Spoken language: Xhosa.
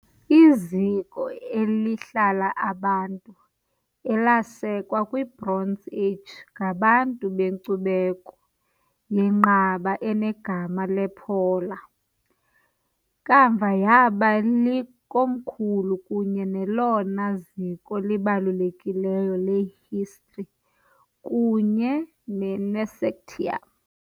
Iziko elihlala abantu elasekwa kwiBronze Age ngabantu benkcubeko yenqaba enegama "lePola", kamva yaba likomkhulu kunye nelona ziko libalulekileyo le-Histri kunye neNesactium, "Nesactium" .